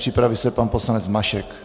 Připraví se pan poslanec Mašek.